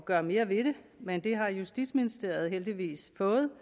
gøre mere ved det men det har justitsministeriet heldigvis fået